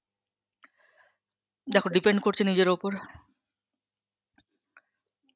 depend করছে নিজের ওপর